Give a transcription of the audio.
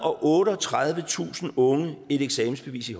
og otteogtredivetusind unge et eksamensbevis i